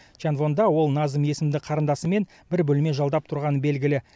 чанвонда ол назым есімді қарындасымен бір бөлме жалдап тұрғаны белгілі